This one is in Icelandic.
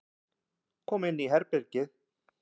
Kom inn í herbergið.